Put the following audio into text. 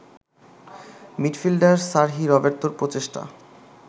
midfielder Sergi রবের্তোর প্রচেষ্টা